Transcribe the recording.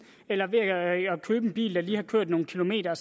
eller ved at købe en bil der lige har kørt nogle kilometer